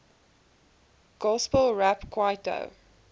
gospel rap kwaito